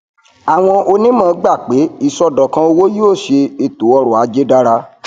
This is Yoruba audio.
àwọn onímọ gbà pé iṣọdọkan owó yóò ṣe ètò ọrọajé dára